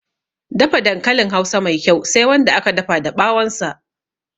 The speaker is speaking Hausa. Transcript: Dafa dankalin hausa Mai kyau Sai Wanda aka dafa da ɓawon sa